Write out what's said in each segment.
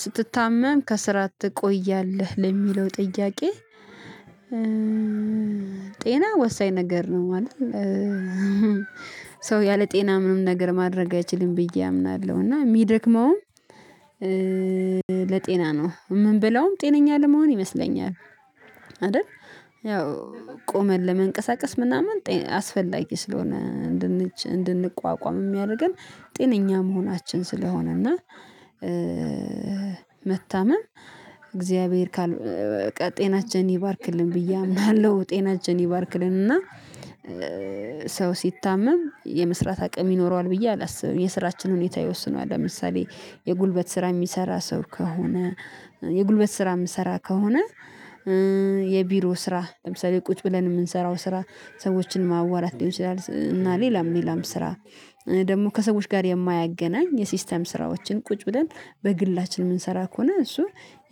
ስትታመም ከስራ ትቆያለህ ለሚለው ጥያቄ? ጤና ወሳኝ ነገር ነው። ማለት ሰው ያለ ጤና ምንም ነገር ማድረግ አይችልም ብዬ አምናለሁ። እና ሚደክመውም ለጤና ነው ምንበለውም ጤነኛ ለመሆን ይመስለኛል። አደል ያው ቆመን ለመንቀሳቀስ ምናምን አስፈላጊ ስለሆነ እንድንቋቋም ሚያደርገን ጤነኛ መሆናችን ስለሆነ እና። መታመም እግዚአብሔር በቃ ጤናችን ይባርክልን ብዬ አምናለሁ ጤናችን ይባርክልን እና። ሰው ሲታመም የመስራት አቅም ይኖረዋል ብዬ አላስብም የስራችን ሁኔታ ይወስነዋል። ለምሳሌ የጉልበት ስራ የሚሰራ ሰው ከሆነ። የጉልበት ስራ ምሰራ ከሆነ። የቢሮ ስራ ለምሳሌ ቁጭ ብለን የምንሰራው ስራ ሰዎችን ማዋራት ሊሆን ይችላል። እና ሌላም ሌላም ስራ ደግሞ ከሰዎች ጋር የማያገናኝ የሲስተም ስራዎችን ቁጭ ብለን በግላችን የምንሰራ ከሆነ እሱ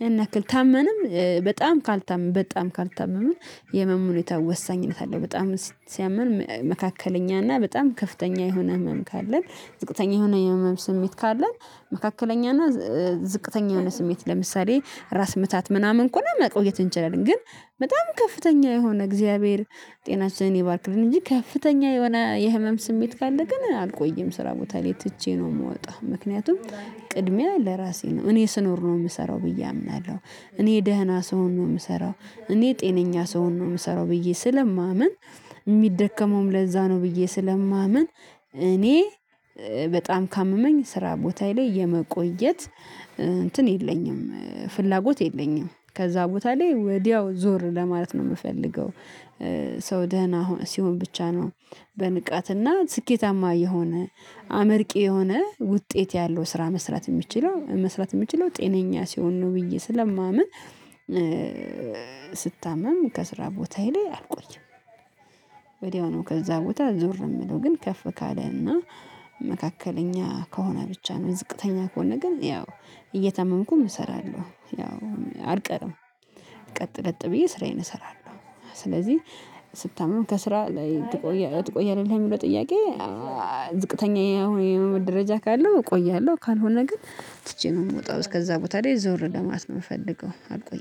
ያን ያክል ታመንም በጣም ካልታመምን በጣም ካልታመምን የመሙ ሁኔታ ወሳኝነት አለው። በጣም ሲያመን መካከለኛ እና በጣም ከፍተኛ የሆነ ህመም ካለን ዝቅተኛ የሆነ ህመም ስሜት ካለን መካከለኛ እና ዝቅተኛ የሆነ ስሜት ለምሳሌ ራስ ምታት ምናምን ከሆነ መቆየት እንችላለን። ግን በጣም ከፍተኛ የሆነ እግዚአብሔር ጤናሽን ይባርክልን እንጂ ከፍተኛ የሆነ የህመም ስሜት ካለ ግን አልቆይም ስራ ቦታ ላይ ትቼ ነው ምወጣው። ምክንያቱም ቅድሚያ ለራሴ ነው እኔ ስኖር ነው የምሰራው ብዬ አምናለሁ። እኔ ደህና ሰው ነው ምሰራው እኔ ጤነኛ ስሆን ነው ምሰራው ብዬ ስለማምን ሚደከመውም ለዛ ነው ብዬ ስለማምን። እኔ በጣም ካመመኝ ስራ ቦታዬ ላይ የመቆየት እንትን የለኝም ፍላጎት የለኝም ከዛ ቦታ ላይ ወዲያው ዞር ለማለት ነው ምፈልገው። ሰው ደህና ሲሆን ብቻ ነው በንቃትና ስኬታማ የሆነ አመርቂ የሆነ ውጤት ያለው ስራ መስራት ሚችለው መስራት ሚችለው ጤነኛ ሲሆን ነው ብዬ ስለማምን። ስታመም ከስራ ቦታዬ ላይ አልቆይም። ወዲያው ነው ከዛ ቦታ ዞር ምለው ግን ከፍ ካለ እና መካከለኛ ከሆነ ብቻ ነው ዝቅተኛ ከሆነ ግን ያው እየታመምኩም እሰራለሁ ያው አልቀርም። ቀጥለጥ ብዬ ስራዬን እሰራለሁ ስለዚህ ስታመም ከስራ ላይ ትቆያለህ ለሚለው ጥያቄ? ዝቅተኛ የሆነ ደረጃ ካለው እቆያለሁ። ካልሆነ ግን ትቼ ነው ምወጣው እስከዛ ቦታ ላይ ዞር ለማት ነው ምፈልገው አልቆይ